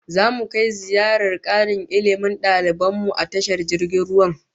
Zamu kai ziyarar karin Ilmi da daliban mu a tashar jirgin ruwan